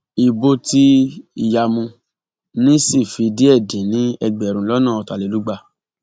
ibo tí ìyàmu ní sì fi díẹ dín ní ẹgbẹrún lọnà ọtàlélúgba